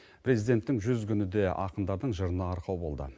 президенттің жүз күні де ақындардың жырына арқау болды